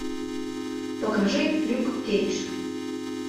покажи люк кейдж